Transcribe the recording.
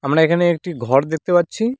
আমরা এখানে একটি ঘর দেখতে পাচ্ছি।